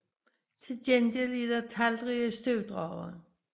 Til gengæld er der talrige støvdragere